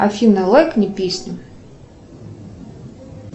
афина лайкни песню